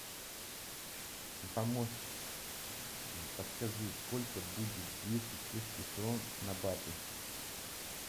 помощник подскажи сколько будет двести чешских крон на баты